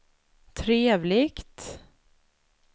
trevligt